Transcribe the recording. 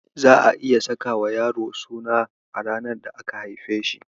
Za'a iya sakawa yaro suna a ranar da aka haife shi.